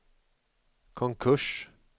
konkurs